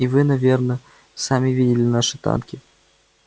и вы наверно сами видели наши танки